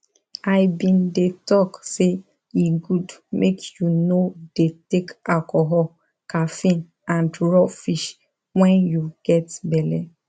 i been de talk say e good mk you no de take alcohol caffeine and raw fish when you get belle